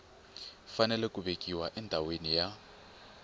fanele ku vekiwa endhawini ya